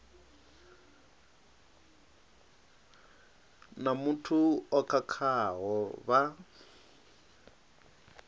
na muthu o khakhaho vha